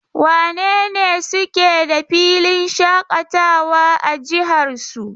Wane ne suke da filin shaƙatawa a jihar su?